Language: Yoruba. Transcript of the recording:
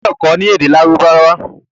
o gbódò kò ní èdè Lárúbáwá!